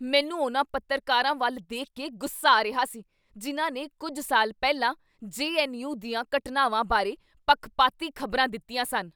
ਮੈਨੂੰ ਉਨ੍ਹਾਂ ਪੱਤਰਕਰਵਾਂ ਵੱਲ ਦੇਖ ਕੇ ਗੁੱਸਾ ਆ ਰਿਹਾ ਸੀ ਜਿਨ੍ਹਾਂ ਨੇ ਕੁੱਝ ਸਾਲ ਪਹਿਲਾਂ ਜੇ.ਐੱਨ.ਯੂ. ਦੀਆਂ ਘਟਨਾਵਾਂ ਬਾਰੇ ਪੱਖਪਾਤੀ ਖ਼ਬਰਾਂ ਦਿੱਤੀਆਂ ਸਨ।